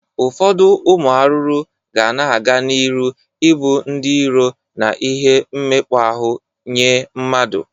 Ụfọdụ ụmụ arụrụ ga na-aga n'ịrụ i bụ ndị iro na ihe mmekpa ahụ nye mmadu